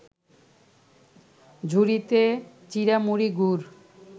ঝুড়িতে চিঁড়ামুড়ি, গুড়